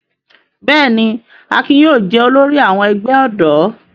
Bẹ́ẹ̀ ni, Akin yóò jẹ olórí àwọn ẹgbẹ́ ọ̀dọ́.